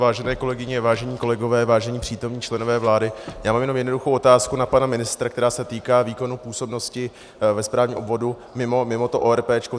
Vážené kolegyně, vážení kolegové, vážení přítomní členové vlády, já mám jenom jednoduchou otázku na pana ministra, která se týká výkonu působnosti ve správním obvodu mimo to ORP.